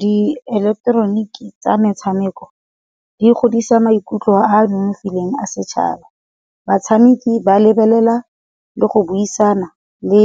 Di eleketeroniki tsa metshameko, di godisa maikutlo a nonofileng a setšhaba. Batshameki ba lebelela le go buisana le